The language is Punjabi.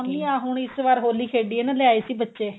ਆਹ ਹੁਣ ਇਸ ਵਾਰ ਹੋਲੀ ਖੇਡੀ ਏ ਨਾ ਲਿਆਏ ਸੀ ਬੱਚੇ